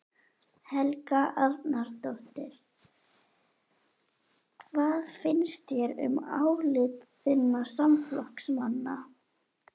Helga Arnardóttir: Hvað finnst þér um álit þinna samflokksmanna?